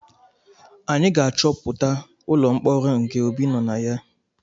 Anyị ga-achọpụta ụlọ mkpọrọ nke Obi nọ na ya